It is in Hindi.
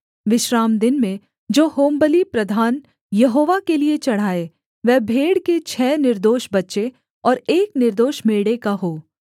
विश्रामदिन में जो होमबलि प्रधान यहोवा के लिये चढ़ाए वह भेड़ के छः निर्दोष बच्चे और एक निर्दोष मेढ़े का हो